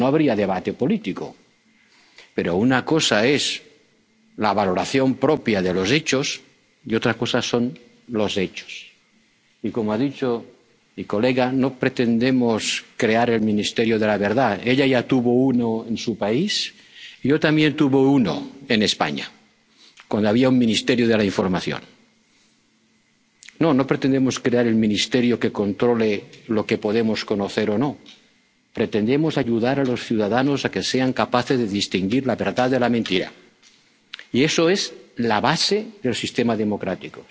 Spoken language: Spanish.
cierto, claro. Si no, no habría debate político. Pero una cosa es la valoración propia de los hechos y otra cosa son los hechos. Y como ha dicho mi colega, no pretendemos crear el Ministerio de la Verdad. Ella ya tuvo uno en su país yo también tuve uno, en España, cuando había un Ministerio de la Información. No, no pretendemos crear el ministerio que controle lo que podemos conocer o no. Pretendemos ayudar a los ciudadanos a que sean capaces de distinguir la verdad de la mentira. Y eso es la base del